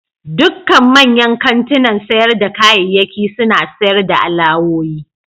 Dukkan manyan kantunan sayar da kayayyaki suna sayar da alawoyi.